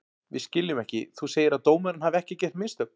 Við skiljum ekki, þú segir að dómarinn hafi ekki gert mistök?